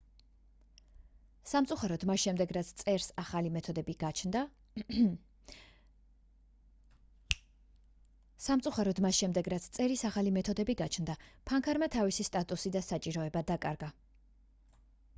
სამწუხაროდ მას შემდეგ რაც წერის ახალი მეთოდები გაჩნდა ფანქარმა თავისი სტატუსი და საჭიროება დაკარგა